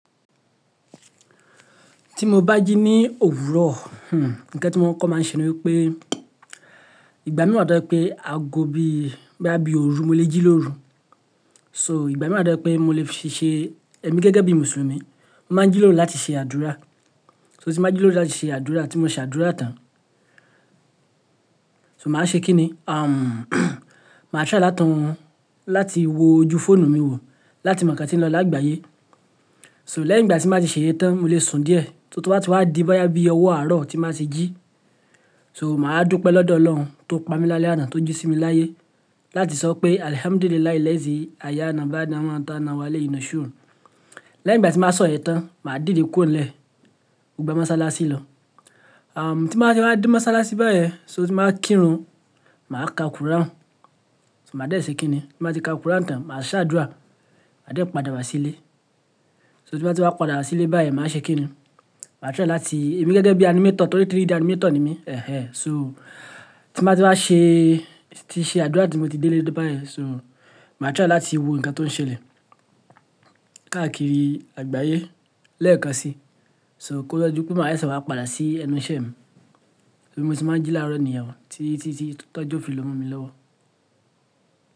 Tí mo bá jí ní òwúrọ̀, hmm, ǹkan tí wọ́n máa ń kọ́ máa ń ṣe ni wípé ìgbà mí wà tó jẹ́ pé aago bí i bóyá bí òru mo lè jí lóru. So ìgbà mí wà tó jẹ́ pé mo lè fi ṣe emí gẹ́gẹ́ bí Mùsùlùmí, mo máa ń jí lóru láti ṣe àdúrà. So tí mo bá jí lóru láti ṣe àdúrà tí mo ṣe àdúrà tán. So màá ṣe kí ni? Umm màá tìrẹ̀ láti láti wo ojú fóònù mi wò láti mọ̀ nǹkan tí ń lọ lágbàyé. So lẹ́yìn ìgbà tí n bá ti ṣe íyen tán, mo lè sùn díẹ̀ tó bá ti wá di boyá bí i ọwọ́ àárọ̀ tí n bá ti jí. So màá dúpẹ́ lọ́dọ̀ Ọlọ́run tó pamí lálẹ́ ána tó jí sí mi láyé láti sọ pé "Alhamdulillahil'alizee ayaana baada àwọn ta nawa layi nashuru". Lẹ́yìn ìgbà tí n bá sọ yẹ̀n tán, màá dìde ku'onlẹ̀, mo gba mọ́sálásí lọ. Umm tí n bàá ti wá dé mọ́sálásí báyẹn, so tí n bàá kírun, màá ka Quran. So màá dẹ̀ ṣe kí ni? Tí màá ti ka Quran tán, màá ṣe àdúrà. Ma dẹ̀ padà wá sílé. So tí n bàá ti wá padà wá sílé báyẹn, màá ṣe kí ni? Màá tìrẹ̀ láti-- èmi gẹ́gẹ́ bí animator torí 3D animator ni mí. So tí n bàá ti wá ṣe, tí ṣe àdúrà tí mo ti dé léé bá yẹn, so màá tìrẹ̀ láti wo ǹkan tó ń ṣẹlẹ̀ káàkiri àgbáyé lẹ́ẹ̀kan sí. So kó tó di pé màá seesé wá padà sí ẹnu iṣẹ́ mi. Bí mo ṣe máa ń jí láro nìyen tí, tí, tí tó jọ o filo mọmọ mi lọ́wọ́.